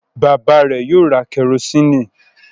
Bàbá rẹ̀ yóò ra kẹrósíínì.